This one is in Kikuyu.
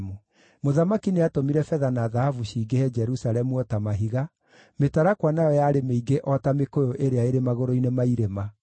Mũthamaki nĩatũmire betha na thahabu cingĩhe Jerusalemu o ta mahiga, mĩtarakwa nayo yarĩ mĩingĩ o ta mĩkũyũ ĩrĩa ĩrĩ magũrũ-inĩ ma irĩma.